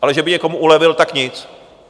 Ale že by někomu ulevil, tak nic!